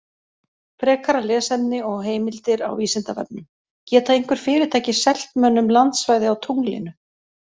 Frekara lesefni og heimildir á Vísindavefnum: Geta einhver fyrirtæki selt mönnum landsvæði á tunglinu?